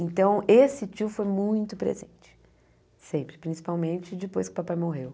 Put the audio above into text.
Então, esse tio foi muito presente, sempre, principalmente depois que o papai morreu.